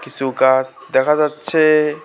কিছু গাস দেখা যাচ্ছে।